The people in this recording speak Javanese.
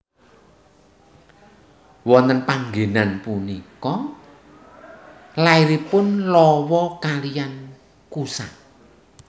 Wonten panggenan punika lairipun Lawa kaliyan Kusa